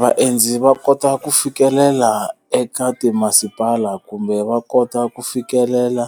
Vaendzi va kota ku fikelela eka timasipala kumbe va kota ku fikelela,